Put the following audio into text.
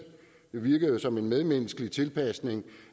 virkede jo som en medmenneskelig tilpasning